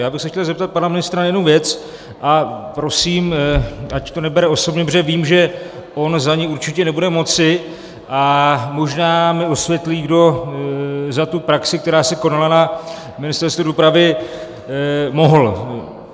Já bych se chtěl zeptat pana ministra na jednu věc a prosím, ať to nebere osobně, protože vím, že on za ni určitě nebude moci, a možná mi osvětlí, kdo za tu praxi, která se konala na Ministerstvu dopravy, mohl.